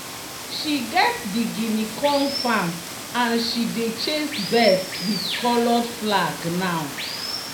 "she get di guinea corn farm and she dey chase birds with coloured flag now."